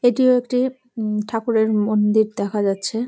এটিও একটি উম ঠাকুরের মন্দির দেখা যাচ্ছে।